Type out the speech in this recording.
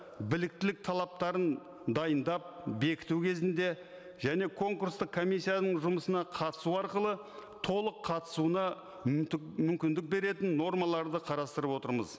біліктілік талаптарын дайындап бекіту кезінде және конкурстық комиссияның жұмысына қатысу арқылы толық қатысуына мүмкіндік беретін нормаларды қарастырып отырмыз